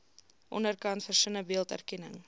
onderkant versinnebeeld erkenning